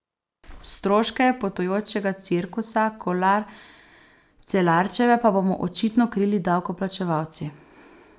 Stroške potujočega cirkusa Kolar Celarčeve pa bomo očitno krili davkoplačevalci.